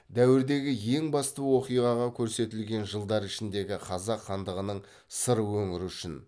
дәуірдегі ең басты оқиғаға көрсетілген жылдар ішіндегі қазақ хандығының сыр өңірі үшін